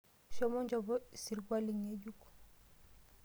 Shomo inchopo esirkwali ng'ejuk.